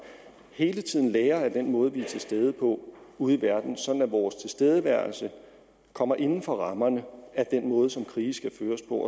hele tiden lærer af den måde vi er til stede på ude i verden sådan at vores tilstedeværelse kommer inden for rammerne af den måde som krige skal føres på